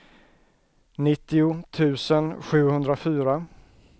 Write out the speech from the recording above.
nittio tusen sjuhundrafyra